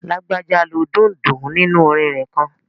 Lágbájá lo dundun nínu orin rẹ̀ kan